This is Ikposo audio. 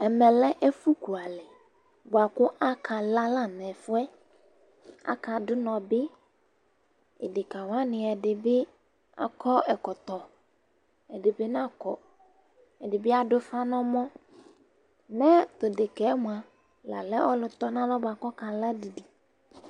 Ɛmɛ lɛ ɛfʋ kualɛ bʋa kʋ aka la la nʋ ɛfʋɛ, aka dʋ ʋnɔ bɩ,edekǝ wanɩ ɛdɩ bɩ akɔ ɛkɔtɔ, ɛdɩ bɩ n' akɔ, ɛdɩ bɩ adʋ ʋfa n' ɛmɔMɛ tʋ dekǝ mʋa, la lɛ ɔlʋ tɔnalɔ bʋa kʋ ɔka la didi